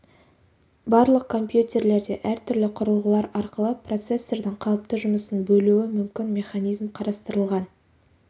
барлық компьютерлерде әртүрлі құрылғылар арқылы процессордың қалыпты жұмысын бөлуі мүмкін механизм қарастырылған